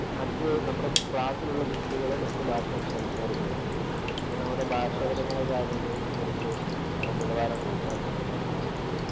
മറ്റു നമ്മുടെ ക്ലാസിലുള്ള കുട്ടികൾ മറ്റു ഭാഷ സംസാരിക്കുന്നവരൊക്കെ ആയിരിക്കും. അപ്പൊ നമ്മുടെ ഭാഷാപരമായ കാര്യങ്ങളിലും കുറച്ച് നിലവാരം കൂട്ടാൻ നമ്മളെ സഹായിക്കും